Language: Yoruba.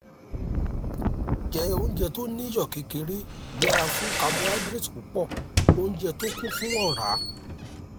jẹ oúnjẹ tó ní iyọ̀ kékeré yẹra fún carbohydrate púpọ̀ oúnjẹ tó kún fún ọ̀rá